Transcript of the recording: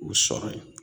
U sɔrɔ yen